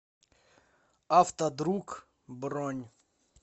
автодруг бронь